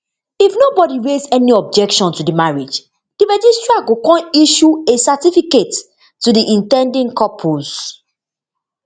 if nobodi raise any objection to di marriage di registrar go kon issue a certificate to di in ten ding couples